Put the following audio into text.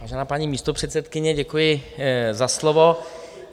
Vážená paní místopředsedkyně, děkuji za slovo.